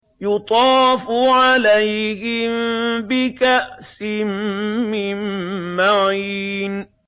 يُطَافُ عَلَيْهِم بِكَأْسٍ مِّن مَّعِينٍ